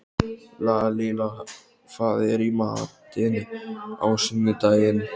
Lalíla, hvað er í matinn á sunnudaginn?